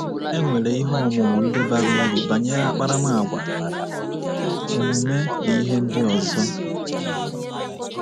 E nwere ihe ọmụmụ ndị bara uru banyere akparamàgwà, omume na ihe ndị ọzọ.